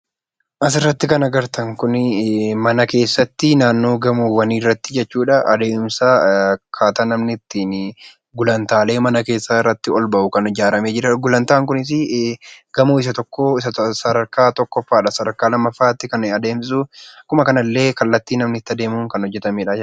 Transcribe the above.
Asirratti kan agartan kun mana keessatti naannoo gamoowwaniirratti akkaataa namni ittiin gulantaalee mana keessaarratti olbahu keessaan kan ijaaramee jirudha. Gulantaan kunis gamoo sadarkaa isa tokkodha sadarkaa tokkoffaatti kan adeemsisu kallattii namni itti aadeemuun kan hojjatamedha.